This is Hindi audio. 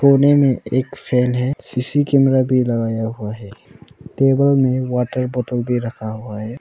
कोने में एक फैन है सी_सी कैमरा भी लगाया हुआ है टेबल में वाटर बोतल दे रखा हुआ है।